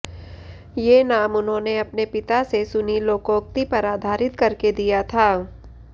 ये नाम उन्होंने अपने पिता से सुनी लोकोक्ति पर आधारित करके दिया था